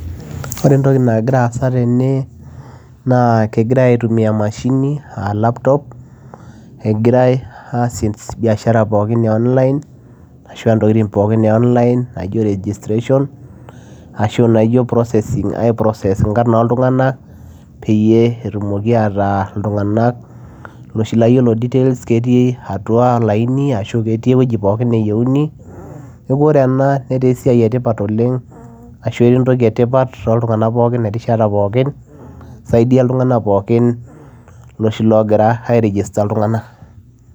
Ore entoki nagira aasa tene naa kegirae aitumia emashini aa laptop egirae aasie biashara pookin e online ashua ntokitin pookin e online naijo registration ashu naijo processing ae process inkarn oltung'anak peyie etumoki ataa iltung'anak iloshi laa yiolo details ketii atua olaini ashu ketii ewueji pookin neyieuni neku ore ena netaa esiai etipat oleng ashu etaa entoki etipat toltung'anak pookin erishata pookin isaidia iltung'anak pokin iloshi logira ae register iltung'anak.